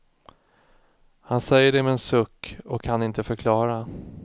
Han säger det med en suck och kan inte förklara.